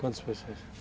Quantas pessoas?